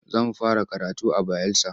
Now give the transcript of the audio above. Za mu fara karatu a Bayelsa.